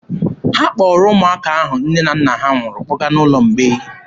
Ha kpọrọ ụmụaka ahụ nne na nna ha nwụrụ kpọga n'ụlọ ụmụ mgbei.